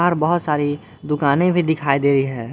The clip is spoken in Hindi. पर बहोत सारी दुकाने भी दिखाई दे रही है।